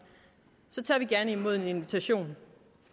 tager vi gerne imod en invitation